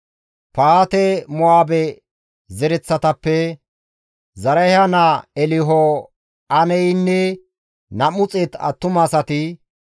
Pahaate-Mo7aabe zereththatappe Zarahiya naa Elho7enayeynne 200 attumasati,